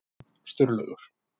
Sturlaugur